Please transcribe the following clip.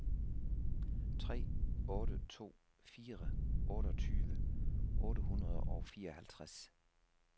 tre otte to fire otteogtyve otte hundrede og fireoghalvtreds